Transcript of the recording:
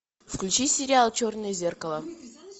включи сериал черное зеркало